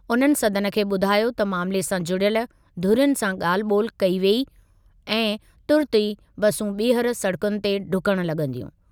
उन्हनि सदन खे ॿुधायो त मामिले सां जुड़ियल धुरियुनि सां ॻाल्हि ॿोलि कई वेई आहे ऐं तुर्तु ई बसूं ॿीहर सड़कुनि ते ढुकण लॻंदियूं।